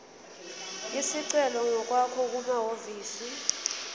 isicelo ngokwakho kumahhovisi